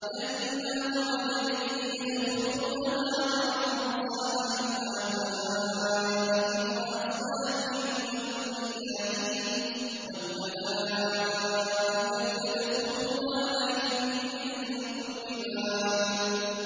جَنَّاتُ عَدْنٍ يَدْخُلُونَهَا وَمَن صَلَحَ مِنْ آبَائِهِمْ وَأَزْوَاجِهِمْ وَذُرِّيَّاتِهِمْ ۖ وَالْمَلَائِكَةُ يَدْخُلُونَ عَلَيْهِم مِّن كُلِّ بَابٍ